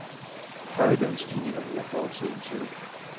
Høje lønstigninger hører fortiden til.